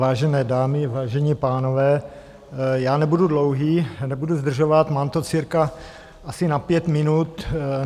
Vážené dámy, vážení pánové, já nebudu dlouhý, nebudu zdržovat, mám to cirka asi na pět minut.